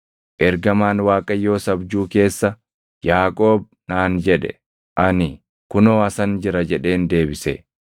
Ergamaan Waaqayyoos abjuu keessa, ‘Yaaqoob’ naan jedhe. Ani, ‘Kunoo asan jira’ jedheen deebise.